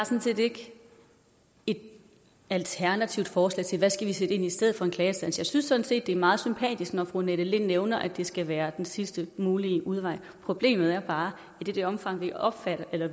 set ikke et alternativt forslag til hvad vi skal sætte ind i stedet for en klageinstans jeg synes sådan set det er meget sympatisk når fru annette lind nævner at det skal være den sidste mulige udvej problemet er bare at i det omfang vi opretter